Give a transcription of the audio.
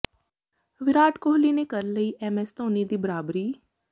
ਵਿਰਾਟ ਕੋਹਲੀ ਨੇ ਕਰ ਲਈ ਐਮਐਸ ਧੋਨੀ ਦੀ ਬਰਾਬਰੀ